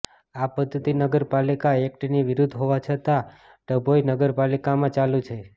આ પધ્ધતિ નગર પાલિકા એક્ટની વિરૃદ્ધ હોવા છતાં ડભોઇ નગર પાલિકામાં ચાલુ છે